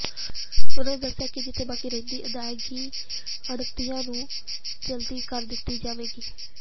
ਉਨ੍ਹਾਂ ਦੱਸਿਆ ਕਿ ਜਿਥੇ ਬਾਕੀ ਰਹਿੰਦੀ ਅਦਾਇਗੀ ਆੜ੍ਹਤੀਆਂ ਨੂੰ ਜਲਦੀ ਕਰ ਦਿੱਤੀ ਜਾਵੇਗੀ